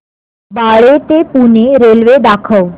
बाळे ते पुणे रेल्वे दाखव